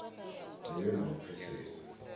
hu vhe na u pfesesa